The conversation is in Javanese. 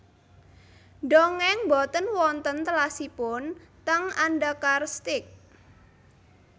Ndongeng mboten wonten telasipun teng Andakar Steak